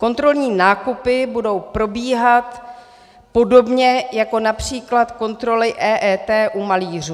Kontrolní nákupy budou probíhat podobně jako například kontroly EET u malířů.